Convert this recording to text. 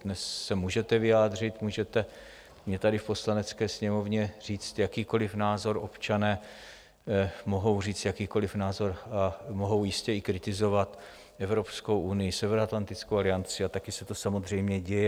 Dnes se můžete vyjádřit, můžete mně tady v Poslanecké sněmovně říct jakýkoliv názor, občané mohou říct jakýkoliv názor a mohou jistě i kritizovat Evropskou unii, Severoatlantickou alianci, a také se to samozřejmě děje.